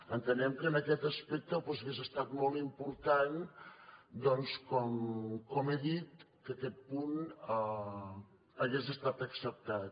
entenem que en aquest aspecte doncs hauria estat molt important com he dit que aquest punt hagués estat acceptat